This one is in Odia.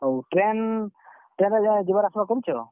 ହଉ train , train ରେ ତମେ ଯିବାର୍ ଆସ୍ ବାର୍ କରୁଛ?